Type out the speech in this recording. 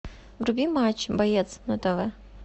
вруби матч боец на тв